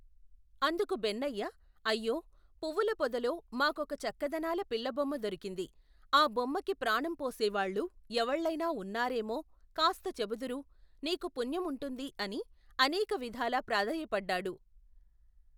అందుకు బెన్నయ్య, అయ్యో, పువ్వుల పొదలో, మాకొక చక్కదనాల పిల్లబొమ్మ దొరికింది, ఆ బొమ్మకి ప్రాణంపోసేవాళ్ళు, ఎవళ్ళైనా ఉన్నారేమో, కాస్తచెబుదురు, నీకు పుణ్యం ఉంటుంది అని, అనేకవిధాల ప్రాధేయపడ్డాడు.